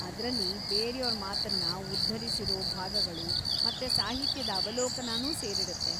ಅದ್ರಲ್ಲಿ ಬೇರ್ಯೋರ ಮಾತನ್ನ ಉದ್ಧರಿಸಿರೋ ಭಾಗಗಳು ಮತ್ತೆ ಸಾಹಿತ್ಯದ ಅವಲೋಕನನೂ ಸೇರಿರುತ್ತೆ.